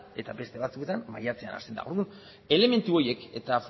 eta beste batzuetan maiatzean hasten da orduan elementu horiek eta